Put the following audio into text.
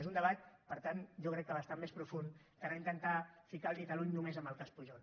és un debat per tant jo crec que bastant més profund que no intentar ficar el dit a l’ull només en el cas pujol